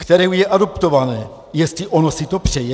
... které je adoptované, jestli ono si to přeje?